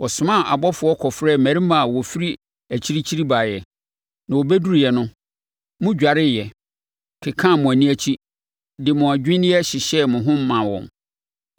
“Wɔsomaa abɔfoɔ kɔfrɛɛ mmarima a wɔfiri akyirikyiri baeɛ, na wɔbɛduruiɛ no, modwareeɛ, kekaa mo ani akyi, de mo adwinneɛ hyehyɛɛ mo ho maa wɔn.